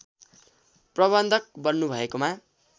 प्रबन्धक बन्नुभएकोमा